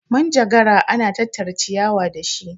manjagara ana tattara ciyawa da shi